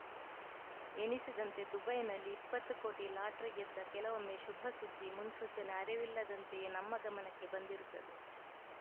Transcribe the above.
ಎಣಿಸಿದಂತೆ ದುಬೈನಲ್ಲಿ ಇಪ್ಪತ್ತು ಕೋಟಿ ಲಾಟರಿ ಗೆದ್ದ ಕೆಲವೊಮ್ಮೆ ಶುಭಸುದ್ದಿ ಮುನ್ಸೂಚನೆ ಅರಿವಿಲ್ಲದಂತೆಯೇ ನಮ್ಮ ಗಮನಕ್ಕೆ ಬಂದಿರುತ್ತದೆ